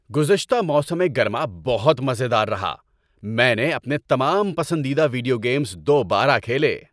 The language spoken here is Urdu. گزشتہ موسم گرما بہت مزے دار رہا۔ میں نے اپنے تمام پسندیدہ ویڈیو گیمز دوبارہ کھیلے۔